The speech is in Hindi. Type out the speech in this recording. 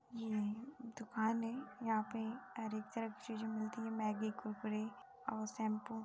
यह एक दुकान है यहाँ पे हरेक तरह की चीज मिलती है मैगी और शैम्पू --